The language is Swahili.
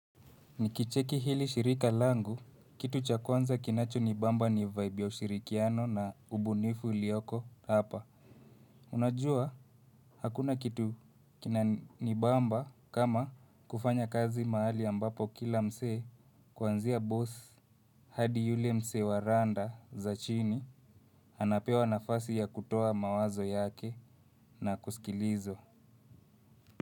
Nikicheki hili shirika langu, kitu cha kwanza kinacho nibamba ni vibe ya ushirikiano na ubunifu uliyoko hapa. Unajua, hakuna kitu kina nibamba kama kufanya kazi mahali ambapo kila msee kwanzia boss. Hadi yule msee wa randa za chini, anapewa nafasi ya kutoa mawazo yake na kusikilizwa.